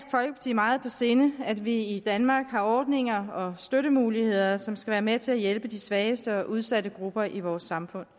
meget på sinde at vi i danmark har ordninger og støttemuligheder som skal være med til at hjælpe de svageste og mest udsatte grupper i vores samfund